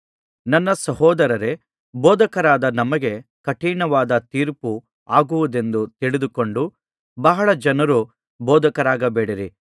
ನನ್ನ ಸಹೋದರರೇ ಬೋಧಕರಾದ ನಮಗೆ ಕಠಿಣವಾದ ತೀರ್ಪು ಆಗುವುದೆಂದು ತಿಳಿದುಕೊಂಡು ಬಹಳ ಜನರು ಬೋಧಕರಾಗಬೇಡಿರಿ